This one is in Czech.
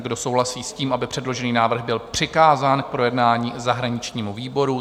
Kdo souhlasí s tím, aby předložený návrh byl přikázán k projednání zahraničnímu výboru?